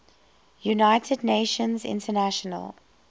united nations international